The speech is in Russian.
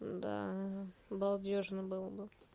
да балдёжно было бы